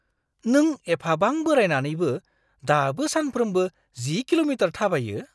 नों एफाबां बोरायनानैबो दाबो सानफ्रोमबो 10 किल'मिटार थाबायो?